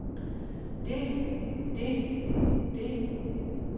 det det det